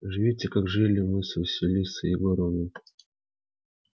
живите как жили мы с василисой егоровной